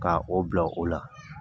Ka o bila o la